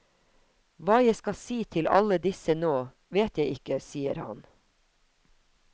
Hva jeg skal si til alle disse nå, vet jeg ikke, sier han.